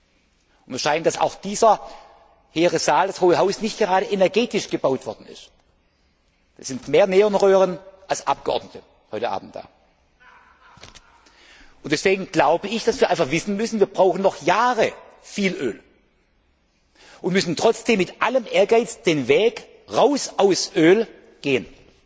Mir scheint, dass auch dieser heere Saal, das Hohe Haus, nicht gerade energetisch gebaut worden ist. Es sind mehr Neonröhren als Abgeordnete heute Abend da. Und deswegen glaube ich, dass wir einfach wissen müssen, wir brauchen noch viele Jahre viel Öl und müssen trotzdem mit allem Ehrgeiz den Weg raus aus dem Öl gehen